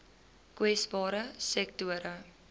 kwesbare sektore